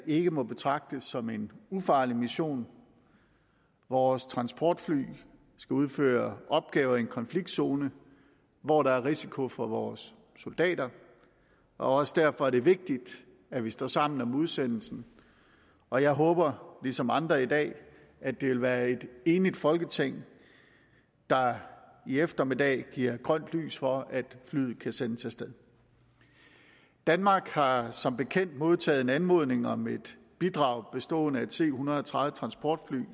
ikke må betragtes som en ufarlig mission vores transportfly skal udføre opgaver i en konfliktzone hvor der er risiko for vores soldater og også derfor er det vigtigt at vi står sammen om udsendelsen og jeg håber ligesom andre i dag at det vil være et enigt folketing der i eftermiddag giver grønt lys for at flyet kan sendes af sted danmark har som bekendt modtaget en anmodning om et bidrag bestående af et c en hundrede og tredive transportfly